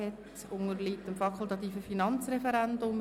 Es unterliegt dem fakultativen Finanzreferendum.